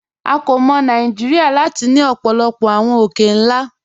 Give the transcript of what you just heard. À kò mọ̀ Nàìjíríà láti ni ọ̀pọ̀lọ̀pọ̀ awọn òkè-nlá.